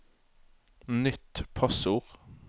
nytt passord